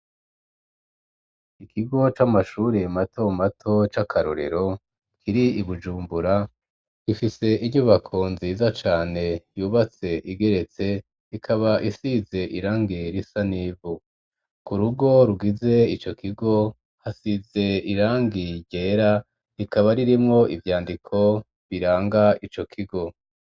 Ikigo c'amashuri mato mato c'akarorero kiri Ibujumbura gifise inyubako nziza cane yubatse igeretse ikaba isize irangi risa n'ivu ku rugo rugize ico kigo hasize irangi ryera rikaba ririmwo ivyandiko biranga ico kigo.